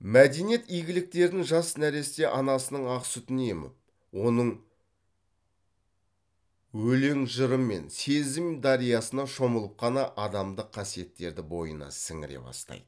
мәдениет игіліктерін жас нәресте анасының ақ сүтін еміп оның өлең жырымен сезім дариясына шомылып қана адамдық қасиеттерді бойына сіңіре бастайды